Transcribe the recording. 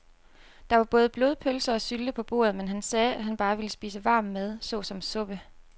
Der var både blodpølse og sylte på bordet, men han sagde, at han bare ville spise varm mad såsom suppe.